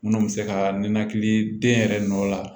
Minnu bɛ se ka ninakili den yɛrɛ nɔ la